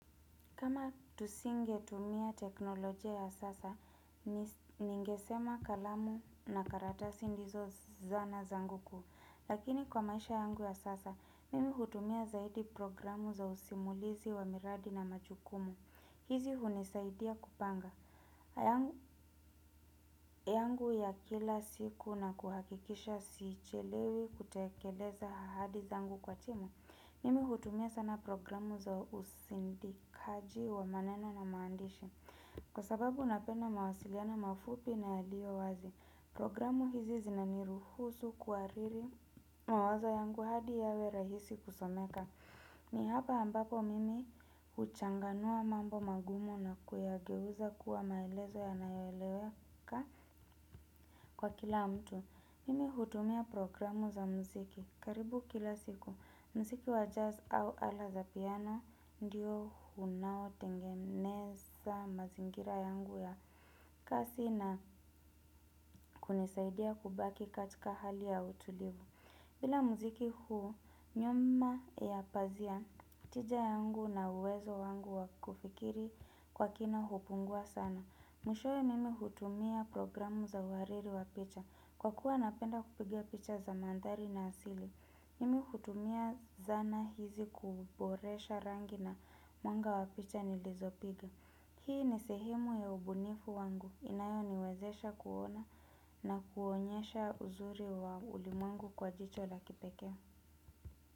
Kama tusingetumia teknolojia ya sasa, ningesema kalamu na karatasi ndizo zana zangu kuu. Lakini kwa maisha yangu ya sasa, mimi hutumia zaidi programu za usimulizi wa miradi na machukumu. Hizi hunisaidia kupanga. Yangu ya kila siku na kuhakikisha siichelewi kutekeleza ahadi zangu kwa timu, mimi hutumia sana programu za usindikaji wa maneno na maandishi. Kwa sababu napenda mawasiliano mafupi na yaliyo wazi programu hizi zinaniruhusu kuwariri mawazo yangu hadi yawe rahisi kusomeka. Ni hapa ambapo mimi huchanganua mambo magumu na kuyageuza kuwa maelezo yanayoeleweka kwa kila mtu. Mimi hutumia programu za mziki. Karibu kila siku, mziki wa jazz au ala za piano ndiyo unaotengeneza mazingira yangu ya kazi na kunisaidia kubaki katika hali ya utulivu. Bila mziki huu, nyuma ya pazia tija yangu na uwezo wangu wa kufikiri kwa kina hupungua sana. Mwishowe mimi hutumia programu za uhariri wa picha. Kwa kuwa napenda kupiga picha za mandhari na asili. Mimi hutumia zana hizi kuboresha rangi na mwanga wa picha nilizopiga. Hii ni sehimu ya ubunifu wangu inayoniwezesha kuona na kuonyesha uzuri wa ulimwengu kwa jicho la kipekee.